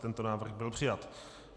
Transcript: Tento návrh byl přijat.